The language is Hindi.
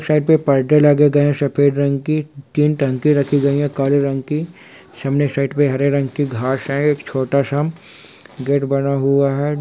साइड पे पर्दे लगे गए हैं सफ़ेद रंग की तीन टंकी रखी गयी है काले रंग की| सामने साइड पे एक हरे रंग की घांस है एक छोटा - सा गेट बना हुआ है|